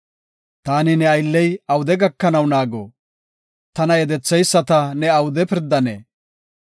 Taani ne aylley awude gakanaw naago? Tana yedetheyisata ne awude pirdanee?